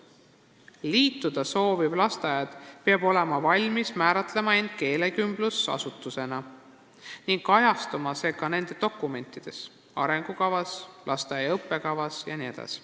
Liituda sooviv lasteaed peab olema valmis määratlema end keelekümblusasutusena, mis peab kajastuma ka tema dokumentides: arengukavas, lasteaia õppekavas jne.